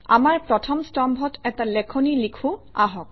আমাৰ প্ৰথম স্তম্ভত এটা লেখনি লিখোঁ আহক